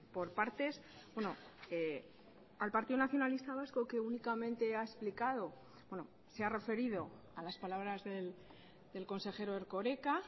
por partes al partido nacionalista vasco que únicamente ha explicado bueno se ha referido a las palabras del consejero erkoreka